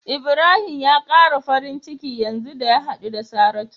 Ibrahim ya kara farin ciki yanzu da ya hadu da Saratu.